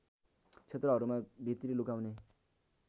क्षेत्रहरूमा भित्री लुकाउने